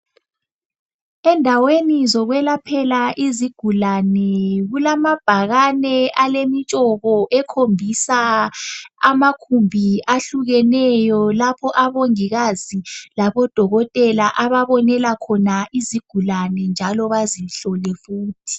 Endaweni zokwelaphela izigulane kulamabhakane alemitshoko ekhombisa amagumbi ahlukeneyo lapho abongikazi labodokotela ababonela khona izigulane njalo bazihlole futhi.